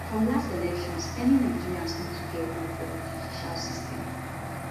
from last elections many nigerians no too get hope for di judicial system